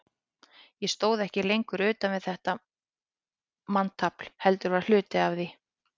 Ég stóð ekki lengur utan við þetta manntafl, heldur var hluti af því.